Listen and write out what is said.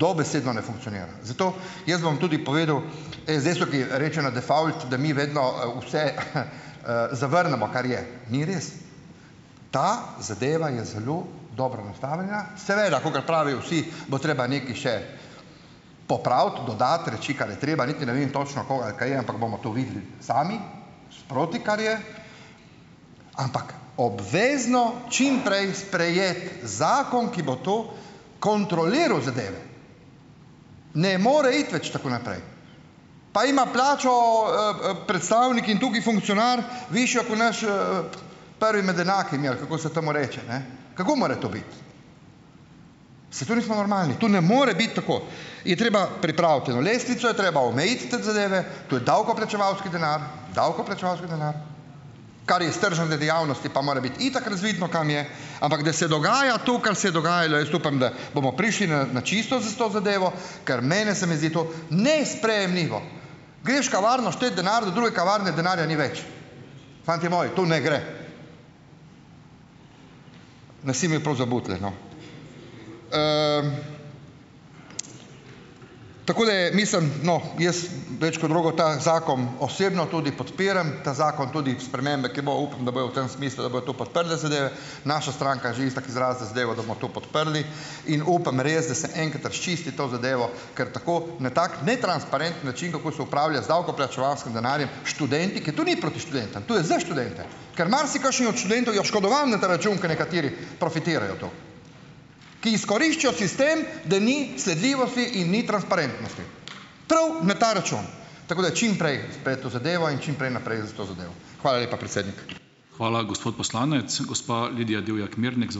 dobesedno ne funkcionira. Zato jaz bom tudi povedal, rečeno default, da mi vedno vse, zavrnemo kar je. Ni res, ta zadeva je zelo dobro nastavljena. Seveda kakor pravijo vsi, bo treba nekaj še popraviti, dodati reči, kar je treba, niti ne vem točno, koga ali kaj, ampak bomo to videli sami, sproti, kar je. Ampak obvezno čim prej sprejeti zakon, ki bo kontroliral zadeve. Ne more iti več tako naprej. Pa ima plačo, predstavnik in tukaj funkcionar višjo ko naš, prvi med enakimi ali kako se temu reče, ne. Kako more to biti? Saj to nismo normalni!? To ne more biti tako. Je treba pripraviti eno lestvico, je treba omejiti te zadeve. To je davkoplačevalski denar. Davkoplačevalski denar. Kar je iz tržnga dejavnosti pa more biti itak razvidno, kam je ... Ampak da se dogaja to, kar je se je dogajalo, jaz upam, da bomo prišli na na čisto s to zadevo, ker mene se mi zdi to nesprejemljivo. Greš kavarno štet denar, do druge kavarne denarja ni več. Fantje moji, to ne gre! Nas imajo prav za butlje, no, tako da mislim, no. Jaz več kot drugo, ta zakon osebno tudi podpiram, ta zakon tudi spremembe, ki, bo upam, da bojo v tem smislu, da bojo to podprle zadeve. Naša stranka je že itak izrazila zadevo, da bomo to podprli. In upam, res, da se enkrat razčisti to zadevo, ker tako na tak netransparenten način, kako se upravlja z davkoplačevalskim denarjem, študenti, ker to ni proti študentom, to je za študente. Kar marsikakšen od študentov je oškodovan na ta račun, ker nekateri profitirajo to, ki izkoriščajo sistem, da ni sledljivosti in ni transparentnosti, prav na ta račun. Tako da čim prej sprejeti to zadevo in čim prej naprej s to zadevo. Hvala lepa, predsednik.